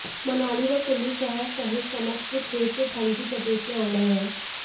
मनाली व कुल्लू शहर सहित समस्त क्षेत्र ठंड की चपेट में आ गए हैं